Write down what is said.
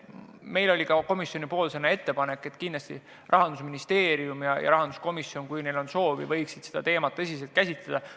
Me tegime ka komisjonina ettepaneku, et Rahandusministeerium ja rahanduskomisjon, kui neil on soovi, võiksid seda teemat tõsiselt käsitleda.